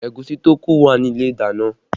Ẹ̀gúsí tó kù wà ní ilé ìdáná